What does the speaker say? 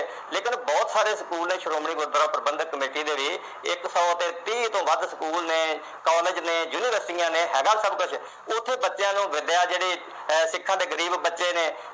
ਲੇਕਿਨ ਬਹੁਤ ਸਾਰੇ ਸਕੂਲ ਨੇ ਸ਼੍ਰੋਮਣੀ ਗੁਰਦੁਆਰਾ ਪ੍ਰਬੰਧਕ ਕਮੇਟੀ ਦੇ ਵੀ ਇਕ ਸੌ ਤੇ ਤੀਹ ਤੋਂ ਵੱਧ ਸਕੂਲ ਨੇ ਕਾਲਜ ਨੇ ਯੂਨੀਵਰਸਿਟੀਆਂ ਨੇ ਹੈਗਾ ਏ ਸਭ ਕੁਝ ਉਥੇ ਬੱਚਿਆਂ ਨੂੰ ਵਿੱਦਿਆ ਜਿਹੜੀ ਅਹ ਸਿੱਖਾਂ ਦੇ ਜਿਹੜੇ ਗਰੀਬ ਬੱਚੇ ਨੇ